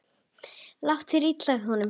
Lét þá illa í honum.